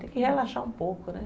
Tem que relaxar um pouco, né?